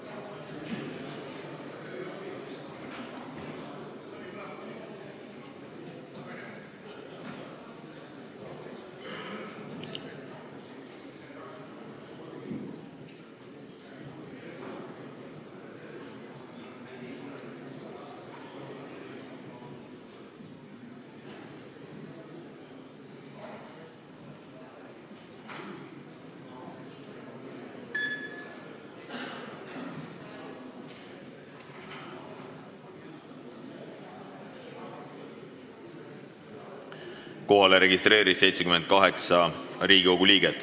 Kohaloleku kontroll Kohalolijaks registreerus 78 Riigikogu liiget.